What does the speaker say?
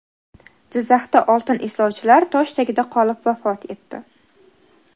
Jizzaxda oltin izlovchilar tosh tagida qolib vafot etdi.